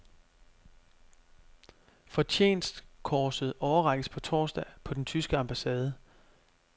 Fortjenstkorset overrækkes på torsdag på den tyske ambassade.